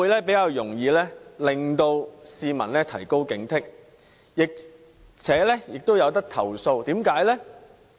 這些都可令市民提高警惕，而且市民也可以作出投訴。